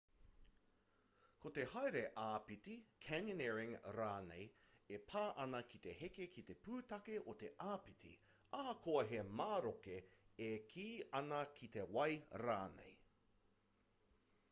ko te haere āpiti canyoneering rānei e pā ana ki te heke ki te pūtake o te āpiti ahakoa he maroke e kī ana ki te wai rānei